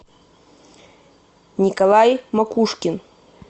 николай макушкин